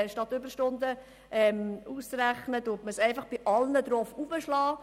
Statt Überstunden auszurechnen, werden sie bei allen hinzugerechnet.